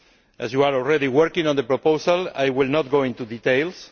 As you are already working on the proposal I will not go into details.